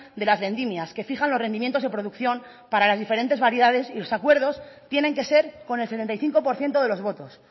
de las vendimias que fijan los rendimientos de producción para las diferentes variedades y los acuerdos tienen que ser con el setenta y cinco por ciento de los votos